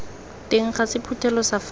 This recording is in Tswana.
teng ga sephuthelo sa faele